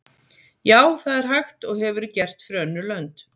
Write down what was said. Já, það er hægt og hefur verið gert fyrir önnur lönd.